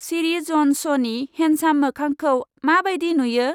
सिरि, जन स्न'नि हेन्डसाम मोखांखौ मा बायदि नुयो?